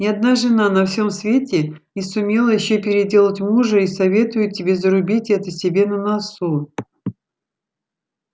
ни одна жена на всём свете не сумела ещё переделать мужа и советую тебе зарубить это себе на носу